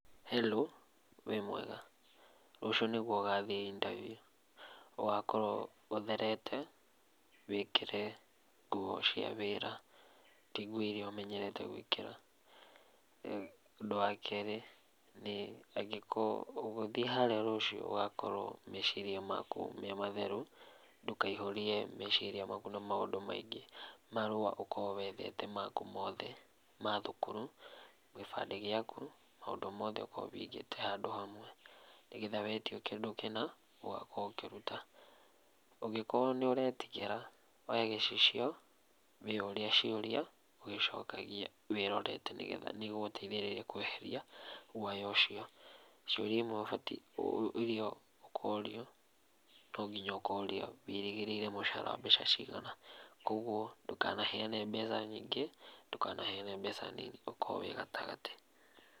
Halo, wĩ mwega? Rũciũ nĩguo ũgathiĩ intabiũ. Ũgakorwo ũtherete, wĩkĩre nguo cia wĩra, ti nguo iria ũmenyerete gwĩkĩra. Ũndũ wa kerĩ, nĩ angĩkorwo, ũgĩthiĩ harĩa rũciũ ũgakorwo meciria maku me matheru, ndũkaihũrie meciria maku na maũndũ maingĩ. Marũa ũkorwo wethete maku mothe ma thukuru, gĩbandĩ gĩaku, maũndũ mothe ũkorwo wĩigĩte handũ hamwe. Nĩgetha wetio kĩndũ kĩna, ũgakoro ũkĩruta. Ũngĩkorwo nĩũretigĩra, oya gĩcicio wĩyũrie ciũria ũgĩcokagia, wĩrorete nĩgetha nĩĩgũgũteithĩrĩria kweheria guoya ũcio. Ciũria imwe ũbatiĩ iria ũkorio, no nginya ũkorio, wĩrĩgĩrĩire mũcara wa mbeca cigana. Kuoguo, ndũkanaheane mbeca nyingĩ, ndũkanaheane mbeca nini, ũkorwo wĩ gatagatĩ.